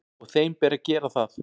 Og þeim ber að gera það.